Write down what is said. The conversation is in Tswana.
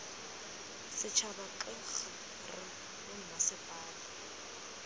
setšhaba k g r bommasepala